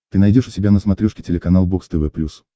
ты найдешь у себя на смотрешке телеканал бокс тв плюс